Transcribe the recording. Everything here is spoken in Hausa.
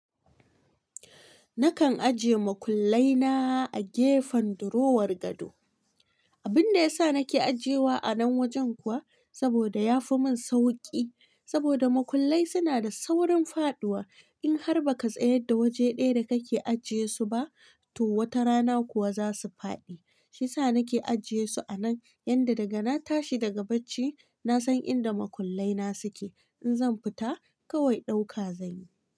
Nakan ajiye makullai na a gefen durowar gado. Abin da ya sa nake ajiyewa a nan wajen kuwa saboda ya fi mun sauki. Saboda makullai suna da saurin faɗuwa. In har ba ka tsayar da waje ɗaya da kake ajiye su ba to wata rana kuwa za su faɗi. Shiyasa nake ajiye su a nan yanda daga na tashi daga bacci nasan inda makullai na suke. In zan fita kawai ɗauka zanyi.